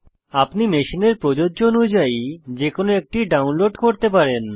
আপনি মেশিনের প্রযোজ্য অনুযায়ী যে কোনো একটি ডাউনলোড করতে পারেন